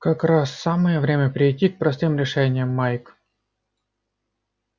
как раз самое время перейти к простым решениям майк